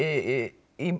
í